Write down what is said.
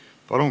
Palun!